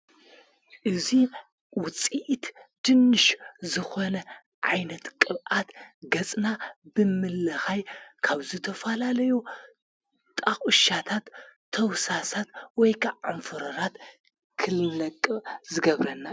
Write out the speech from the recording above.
እዙይ ውፂኢት ድንሽ ዝኾነ ዓይነት ቅብኣት ገጽና ብምለኻይ ካብዘተፋላለዮ ጣቝሻታት ተውሳሳት ወይካ ዓምፍሩራት ክልነቅ ዝገብረናን።